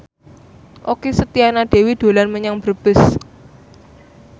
Okky Setiana Dewi dolan menyang Brebes